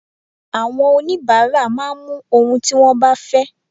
Àwọn onibaara máa mú ohun tí wón bá fẹ́.